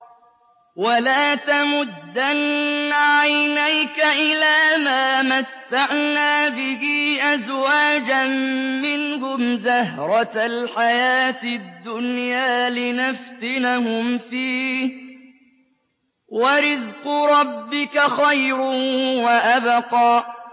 وَلَا تَمُدَّنَّ عَيْنَيْكَ إِلَىٰ مَا مَتَّعْنَا بِهِ أَزْوَاجًا مِّنْهُمْ زَهْرَةَ الْحَيَاةِ الدُّنْيَا لِنَفْتِنَهُمْ فِيهِ ۚ وَرِزْقُ رَبِّكَ خَيْرٌ وَأَبْقَىٰ